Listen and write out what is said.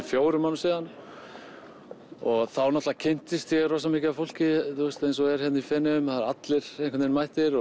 fjórum árum síðan og þá kynntist ég rosa mikið af fólki eins og er hér í Feneyjum það eru allir einhvern vegin mættir